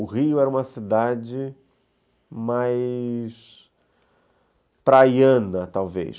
O Rio era uma cidade mais praiana, talvez.